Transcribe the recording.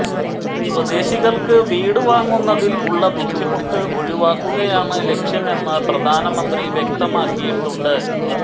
സ്വദേശികൾക്ക് വീട് വാങ്ങുന്നതിൽ ഉള്ള ബുദ്ധിമുട്ട് ഒഴിവാക്കുകയാണ് ലക്ഷ്യമെന്ന് പ്രധാനമന്ത്രി വ്യക്തമാക്കിയിട്ടുണ്ട്